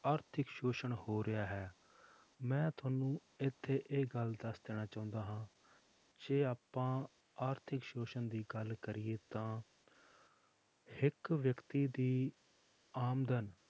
ਆਰਥਿਕ ਸ਼ੋਸ਼ਣ ਹੋ ਰਿਹਾ ਹੈ ਮੈਂ ਤੁਹਾਨੂੰ ਇੱਥੇ ਇਹ ਗੱਲ ਦੱਸ ਦੇਣਾ ਚਾਹੁੰਦਾ ਹਾਂ ਜੇ ਆਪਾਂ ਆਰਥਿਕ ਸ਼ੋਸ਼ਣ ਦੀ ਗੱਲ ਕਰੀਏ ਤਾਂ ਇੱਕ ਵਿਅਕਤੀ ਦੀ ਆਮਦਨ